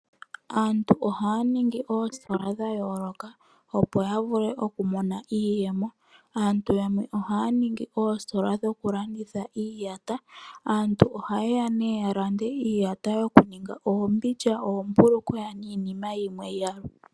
Aantu ohaya ningi oositola dha yooloka, opo ya vule okumona iiyemo. Aantu yamwe ohaya ningi oositola dhokulanditha iiyata. Aantu ohaye ya nee ya lande iiyata yokuninga oombindja, oombulukweya niinima yimwe ya gwedhwa po.